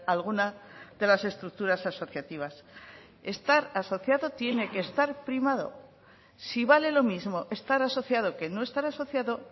a alguna de las estructuras asociativas estar asociado tiene que estar primado si vale lo mismo estar asociado que no estar asociado